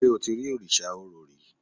ṣe o ti ri Òrìṣà Orò rí?